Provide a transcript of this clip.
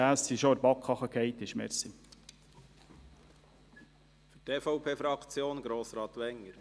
Der dritte Grund ist, dass diese schon in der BaK abgelehnt wurde.